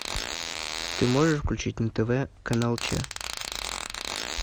ты можешь включить на тв канал че